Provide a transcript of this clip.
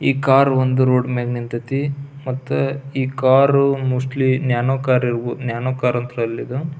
ಈ ಕಾರು ಒಂದು ರೋಡ್ ಮೇಲೆ ನಿಂತೈತಿ ಮತ್ತು ಈ ಕಾರ್ ಮೋಸ್ಟ್ಲಿ ನಾನೋ ಕಾರ್ ಇರ್ಬಹುದು.